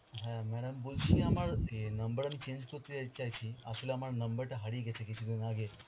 হ্যাঁ madam বলছি যে আমার অ্যাঁ number আমি change করতে চাই~ চাইছি আসলে আমার number টা হারিয়ে গেছে কিছুদিন আগে.